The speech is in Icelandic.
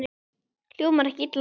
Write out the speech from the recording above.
Hljómar ekki illa.